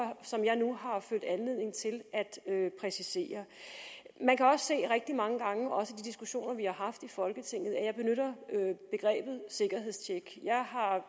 og følt anledning til at præcisere man kan også se rigtig mange gange også de diskussioner vi har haft i folketinget at jeg benytter begrebet sikkerhedstjek